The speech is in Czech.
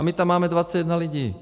A my tam máme 21 lidí.